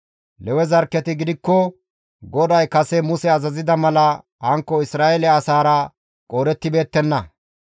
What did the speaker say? Lewe zarkketi gidikko GODAY kase Muse azazida mala hankko Isra7eele asaara qoodettibeettenna.